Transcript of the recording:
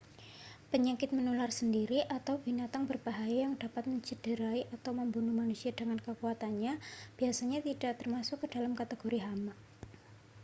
penyakit menular sendiri atau binatang berbahaya yang dapat mencederai atau membunuh manusia dengan kekuatannya biasanya tidak termasuk ke dalam kategori hama